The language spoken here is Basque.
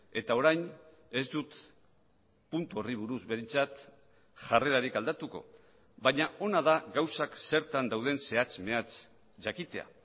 eta orain ez dut puntu horri buruz behintzat jarrerarik aldatuko baina ona da gauzak zertan dauden zehatz mehatz jakitea